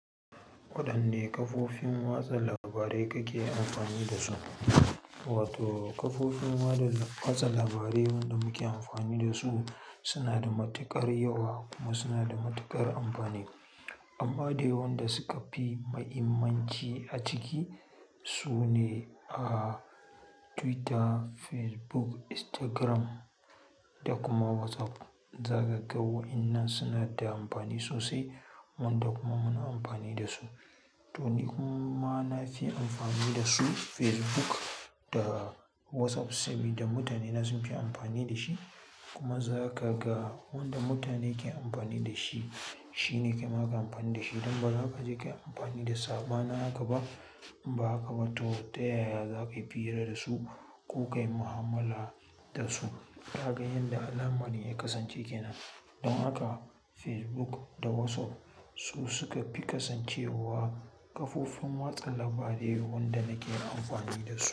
Waɗanne kafofin watsa labarai kake amfani da su? Wato kafofin watsa labarai wanda muke amfani da su suna da matuƙar yawa kuma suna da matuƙar amfani. Amma dai waɗanda suka fi mahimmanci a ciki su ne, ah, Twitter, Facebook, Instagram da kuma WhatsApp. Zakaga waɗannan suna da amfani sosai, wanda kuma muna amfani da su. To ni kuma na fi amfani da su Facebook da WhatsApp saboda mutane na sun fi amfani da shi. Kuma zakaga wanda mutane ke amfani da shi, shi ne ke ma ka amfani da shi. Don ba za ka je ka yi amfani da saɓanin haka ba. Inba haka ba to ta yaya za ka yi fira da su ko ka yi mu'amala da su? Ka ga yadda al'amari ya kasance ke nan. Don haka Facebook da WhatsApp su suka fi kasancewa kafofin watsa labarai wanda nake amfani da su.